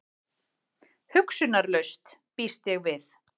Hugsunarlaus, býst ég við.